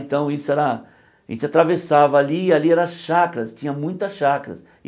Então, isso era... a gente atravessava ali, e ali era chacras, tinha muitas chacras.